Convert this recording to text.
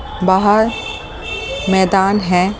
बाहर मैदान है।